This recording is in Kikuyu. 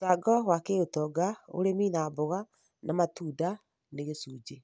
Mũcango wa kĩũtonga: ũrĩmi wa mboga na matunda nĩ gĩcunjĩ